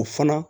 O fana